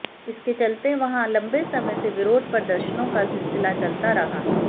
इसके चलते वहां लंबे समय से विरोध प्रदर्शनों का सिलसिला चलता रहा